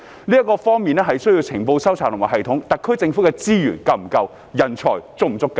由於這方面需要收集情報的系統，特區政府有否足夠的資源？